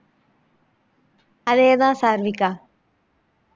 அதே தான் சாருவிகா